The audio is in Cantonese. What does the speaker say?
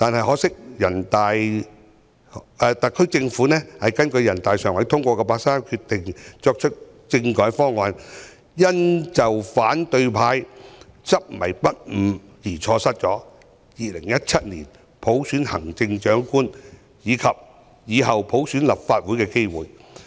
可惜特區政府根據人大常委會八三一決定提出的政改方案，因反對派的執迷不悟而被否決，令我們錯失2017年普選行政長官，以及以後普選立法會的機會。